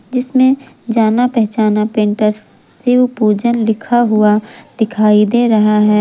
जिसमें जाना पहचान पेंटर शिवपूजन लिखा हुआ दिखाई दे रहा है।